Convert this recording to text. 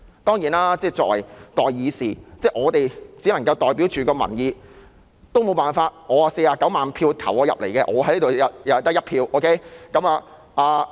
當然，作為代議士，我們只能代表民意，我也沒有辦法，雖然我獲49萬選票選進來，但在這裏我只得1票。